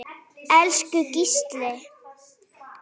Elsku Gísli.